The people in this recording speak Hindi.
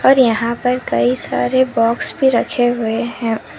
और यहां पर कई सारे बॉक्स भी रखे हुए हैं।